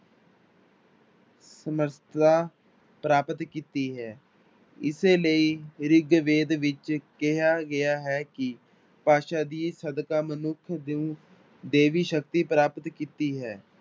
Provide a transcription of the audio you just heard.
ਸਮਰਥਾ ਪ੍ਰਾਪਤ ਕੀਤੀ ਹੈ, ਇਸੇ ਲਈ ਰਿਗਵੇਦ ਵਿੱਚ ਕਿਹਾ ਗਿਆ ਹੈ ਕਿ ਭਾਸ਼ਾ ਦੇ ਸਦਕਾ ਮਨੁੱਖ ਨੇ ਦੇਵੀ ਸ਼ਕਤੀ ਪ੍ਰਾਪਤ ਕੀਤੀ ਹੈ।